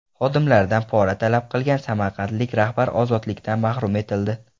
Xodimlaridan pora talab qilgan samarqandlik rahbar ozodlikdan mahrum etildi.